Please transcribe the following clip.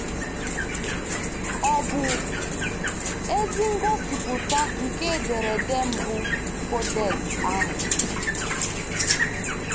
Ọ̀ bụ ezi ngosipụta nke ederede mbụ codex ahụ?